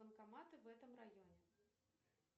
банкоматы в этом районе